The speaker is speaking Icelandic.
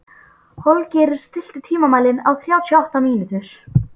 Holgeir, stilltu tímamælinn á þrjátíu og átta mínútur.